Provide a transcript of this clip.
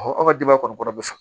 an ka denbaya kɔni kɔnɔ bɛ sɔn